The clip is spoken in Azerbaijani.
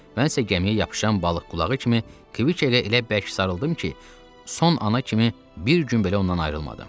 Mən elə gəmiyə yapışan balıq qulağı kimi Kviketə elə bərk sarıldım ki, son ana kimi bir gün belə ondan ayrılmadım.